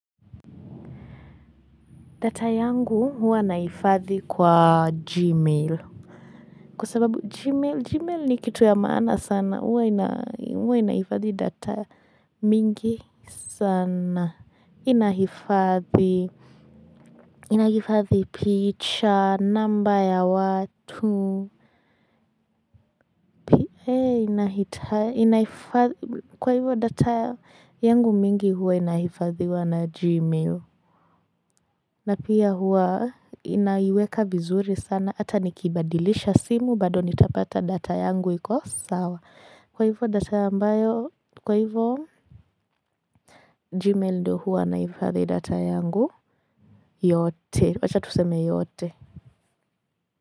Data yangu huwa naifadhi kwa gmail. Kwa sababu gmail ni kitu ya maana sana huwa inaifadhi data mingi sana inahifadhi. Inaifadhi picha, namba ya watu. Inaifadhi kwa hivyo data yangu mingi huwa inaifadhiwa na gmail. Na pia huwa inaiweka vizuri sana, ata nikibadilisha simu, bado nitapata data yangu iko sawa. Kwa hivyo data ambayo, kwa hivyo Gmail ndio huwa naifadhi data yangu yote, wacha tuseme yote.